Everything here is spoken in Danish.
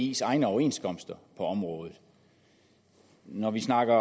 dis egne overenskomster på området når vi snakker